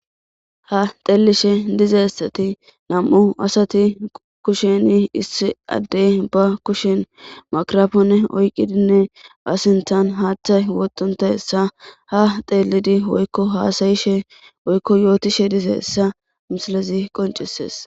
Ha xeelishe dizayssati nam7u asati kushen issi adde kusheni ba kushen mikirapone oyqidinne a sithtban haaththay wotontayssa ha xeelidi woykko haasayishe woykko yootishe dizayssa misilezi qonccisees.